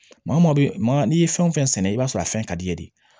Maa maa bɛ maa n'i ye fɛn o fɛn sɛnɛ i b'a sɔrɔ a fɛn ka d'i ye de